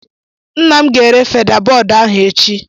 Nna m ga-ere feda-bọọdụ ahụ echi